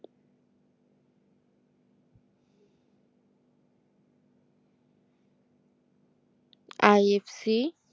IFC